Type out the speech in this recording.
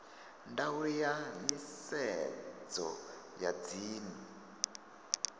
ndaulo ya nisedzo ya dzinnu